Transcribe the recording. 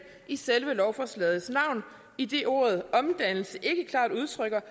i selve lovforslagets navn idet ordet omdannelse ikke klart udtrykker